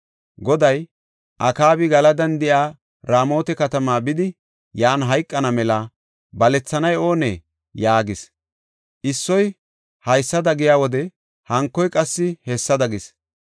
Goday, ‘Akaabi Galadan de7iya Raamota katamaa bidi, yan hayqana mela balethanay oonee?’ yaagis. Issoy haysada giya wode hankoy qassi hessada gees.